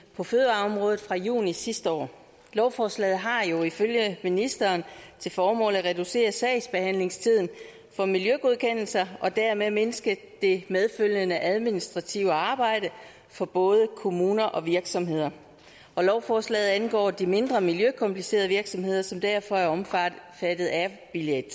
på fødevareområdet fra juni sidste år lovforslaget har jo ifølge ministeren til formål at reducere sagsbehandlingstiden for miljøgodkendelser og dermed mindske det medfølgende administrative arbejde for både kommuner og virksomheder og lovforslaget angår de mindre miljøkomplicerede virksomheder som derfor er omfattet af bilag